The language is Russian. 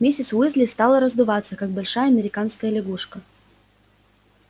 миссис уизли стала раздуваться как большая американская лягушка